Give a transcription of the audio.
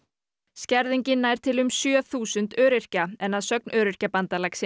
skerðingin nær til um sjö þúsund öryrkja en að sögn Öryrkjabandalagsins